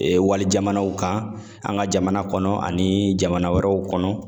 Ee wali jamanaw kan ,an ka jamana kɔnɔ ani jamana wɛrɛw kɔnɔ